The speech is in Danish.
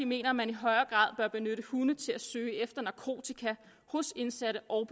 mener at man i højere grad bør benytte hunde til at søge efter narkotika hos indsatte og